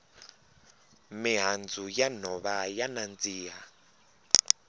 mihandzu ya nhova ya nandziha